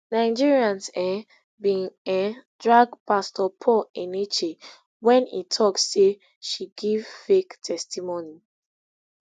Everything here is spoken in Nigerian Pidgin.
nigerians um bin um drag pastor paul enenche wen e tok say she give fake testimony